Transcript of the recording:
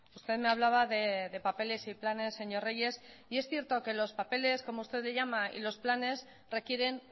usted me hablaba de papeles y planes señor reyes y es cierto que los papeles como usted les llama y los planes requieren